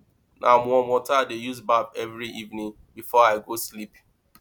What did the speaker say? na warm water i dey use baff every evening before i go sleep